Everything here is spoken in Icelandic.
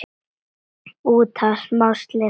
út af smá slysi!